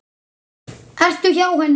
Ertu hjá henni?